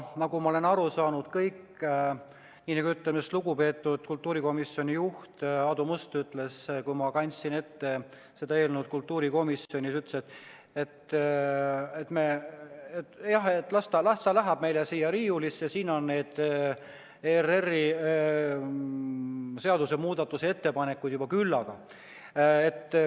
Aga nagu ma olen aru saanud, nii nagu lugupeetud kultuurikomisjoni juht Aadu Must ütles, kui ma selle eelnõu kultuurikomisjonis ette kandsin, et jah, las ta läheb meil siia riiulisse, siin on neid ERR-i seaduse muudatusettepanekuid juba küllaga.